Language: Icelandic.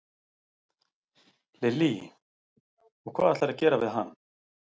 Lillý: Og hvað ætlarðu að gera við hann?